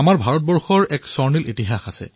ভাৰতৰ হকীৰ এক স্বৰ্ণীল ইতিহাস আছে